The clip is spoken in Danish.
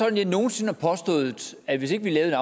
at jeg nogen sinde har påstået at hvis ikke vi lavede